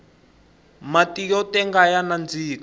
matiyo tenga ya nandika